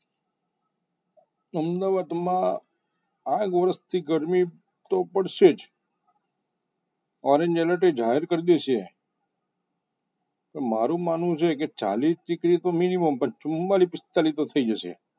અમદાવાદમાં આગ વરસથી ગરમી તો પડશે જ એ જાહેર કરી દેછે કે મારું માનવું છે કે ચાલીસ degree તો minimum ચુમ્માંલીશ પિસ્તાલીસ તો‌ થઈ જશે.